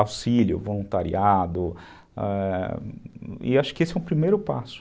auxílio, voluntariado, ãh... e acho que esse é o primeiro passo.